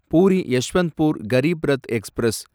puri Yesvantpur Garib Rath express